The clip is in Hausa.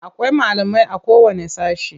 Akwai malamai.a kowanne sashe.